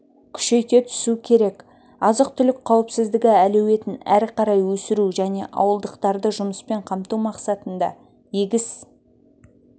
күшейте түсу керек азық-түлік қауіпсіздігі әлеуетін әрі қарай өсіру және ауылдықтарды жұмыспен қамту мақсатында егіс